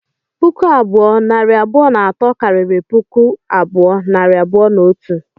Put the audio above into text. Puku abụọ, nari abụọ na atọ, karịrị puku abụọ, nari abụọ na otu